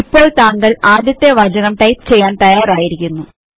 ഇപ്പോൾ താങ്കൾ ആദ്യത്തെ വാചകം ടൈപ്പ് ചെയ്യാൻ തയ്യാറായിരിക്കുന്നു